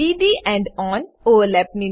d D end on overlap